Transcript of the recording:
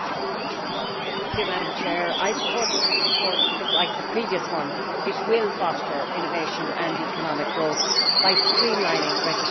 Madam President, I supported this report because, like the previous report, it will foster innovation and economic growth by streamlining registration systems.